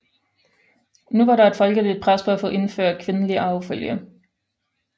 Nu var der et folkeligt pres for at få indført kvindelig arvefølge